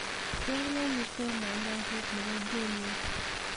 cheng ak iteb mandazi nebo jumia